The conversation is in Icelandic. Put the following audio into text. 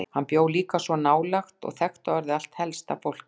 Hann bjó líka svo nálægt og þekkti orðið allt helsta fólkið.